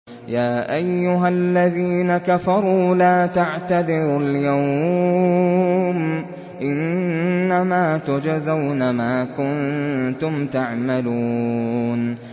يَا أَيُّهَا الَّذِينَ كَفَرُوا لَا تَعْتَذِرُوا الْيَوْمَ ۖ إِنَّمَا تُجْزَوْنَ مَا كُنتُمْ تَعْمَلُونَ